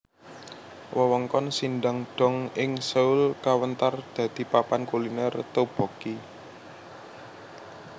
Wewengkon Sindang dong ing Seoul kawentar dadi papan kuliner tteokbokki